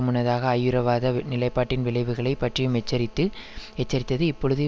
முன்னதாக ஐயுறவாத நிலைப்பாட்டின் விளைவுகளை பற்றியும் எச்சரித்து எச்சரித்தது இப்பொழுது